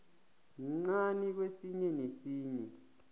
mncani kwesinye nesinye